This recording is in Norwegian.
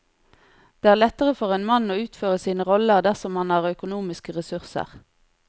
Det er lettere for en mann å utføre sine roller dersom han har økonomiske ressurser.